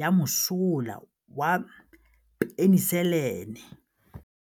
ya mosola wa peniselene.